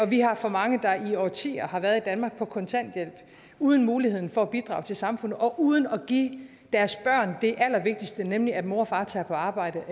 vi har for mange der i årtier har været i danmark på kontanthjælp uden muligheden for at bidrage til samfundet og uden at give deres børn det allervigtigste nemlig at mor og far tager på arbejde